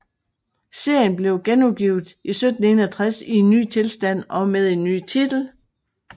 Serien blev genudgivet i 1761 i en ny tilstand og med en ny titel